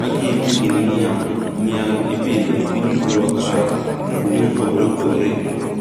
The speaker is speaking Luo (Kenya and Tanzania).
Magi eki gin niang'. Niang'ipidho epiny luowa kae kuonde mopogore opogore.